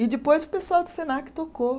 E depois o pessoal do Senac tocou.